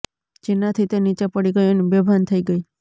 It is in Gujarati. જેનાથી તે નીચે પડી ગઈ અને બેભાન થઈ ગઈ